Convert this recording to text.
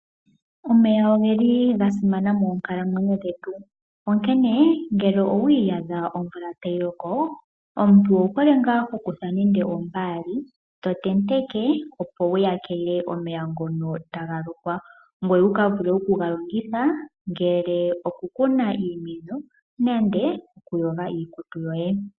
Omeya ogeli gasimana moonkalamwenyo dhetu onkene ngele owiiyadha omvula tayi loko omuntu owu hole hokutha nande ombaali to tenteke, opo wu tegeke omeya ngono taga lokwa ngoye wu vule oku kega longitha ngele oku kuna nande oku tekela iimeno nenge okuyoga iikutu yoye.